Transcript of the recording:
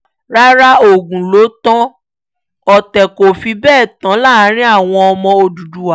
rárá ogún ló tan ọ̀tẹ̀ kò fi bẹ́ẹ̀ tán láàrin àwọn ọmọ òdúdúwá